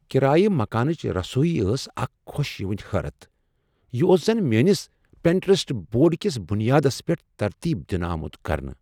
کرایہ مکانٕچہِ رسویہ ٲس اکھ خوش یِوٗن حٲرتھ ۔ یہ اوس زن میٲنس پنٹیرسٹ بورڈ کس بنیادس پیٹھ ترتیب دِنہٕ آمت کرنہٕ! "